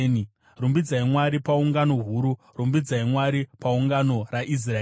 Rumbidzai Mwari paungano huru; rumbidzai Mwari pagungano raIsraeri.